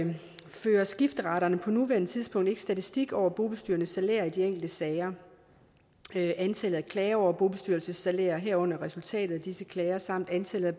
fører skifteretterne på nuværende tidspunkt ikke statistik over bobestyrernes salærer i de enkelte sager antallet af klager over bobestyrelsessalærer herunder resultatet af disse klager samt antallet